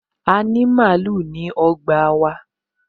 A ní màálù ní ọgbà wa